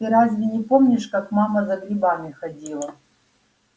ты разве не помнишь как мама за грибами ходила